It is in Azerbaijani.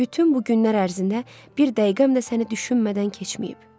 Bütün bu günlər ərzində bir dəqiqəm də səni düşünmədən keçməyib.